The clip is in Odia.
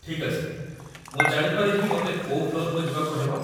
ଠିକ୍ ଅଛି, ମୁଁ ଜାଣିପାରେ କି ମୋତେ କୋଉ ଫ୍ଲୋର୍‌କୁ ଯିବାକୁ ହେବ?